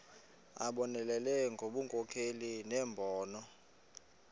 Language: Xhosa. abonelele ngobunkokheli nembono